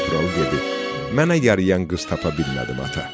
Qanturalı dedi: Mənə yariyən qız tapa bilmədim ata.